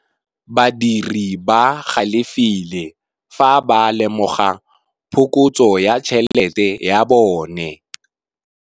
Badiri ba galefile fa ba lemoga phokotsô ya tšhelête ya bone.